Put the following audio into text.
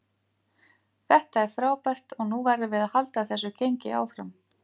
Þetta er frábært og nú verðum við að halda þessu gengi áfram.